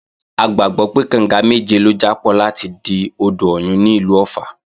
A gbàgbọ́ pé, kànga méje ló jápọ̀ láti di odò Ọ̀yun ní ìlú Ọ̀ffà